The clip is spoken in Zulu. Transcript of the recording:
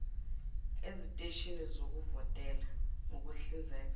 eziteshini zokuvotela ngokuhlinzeka